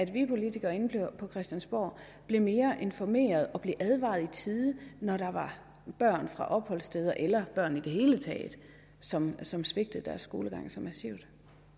vi politikere herinde på christiansborg bliver mere informeret så vi bliver advaret i tide når der er børn fra opholdssteder eller børn i det hele taget som som svigter deres skolegang så massivt